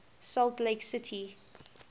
salt lake city